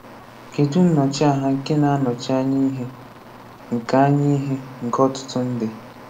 Kedụ nnọchiaha nke na-anọchi anya ihe nke anya ihe nke ọtụtụ ndị?